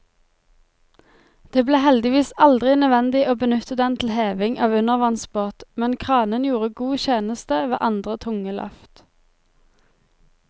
Det ble heldigvis aldri nødvendig å benytte den til heving av undervannsbåt, men kranen gjorde god tjeneste ved andre tunge løft.